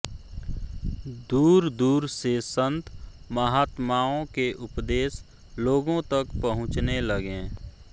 दूर दूर से संत महात्माओं के उपदेश लोगों तक पहुंचने लगे